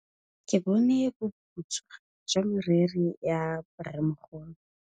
Ke bone boputswa jwa meriri ya rrêmogolo.